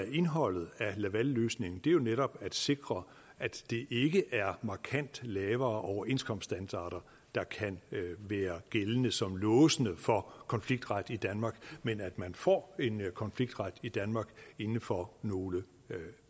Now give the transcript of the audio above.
indholdet af lavalløsningen er jo netop at sikre at det ikke er markant lavere overenskomststandarder der kan være gældende som låsende for konfliktret i danmark men at man får en konfliktret i danmark inden for nogle